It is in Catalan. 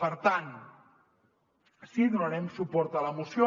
per tant sí que donarem suport a la moció